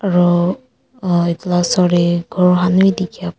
aru ahh etu laga osor te ghor khan bi dikhia pa.